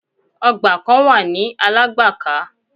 Ọgbà kan wà ní Alágbàká.